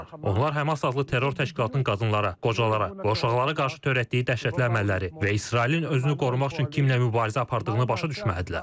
Onlar HƏMAS adlı terror təşkilatının qadınlara, qocalara, uşaqlara qarşı törətdiyi dəhşətli əməlləri və İsrailin özünü qorumaq üçün kimlə mübarizə apardığını başa düşməlidirlər.